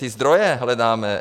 Ty zdroje hledáme.